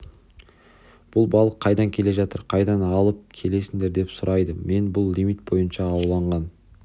бұл балық қайдан келе жатыр қайдан алыпп келесіңдер деп сұрайды мен бұл лимит бойынша ауланған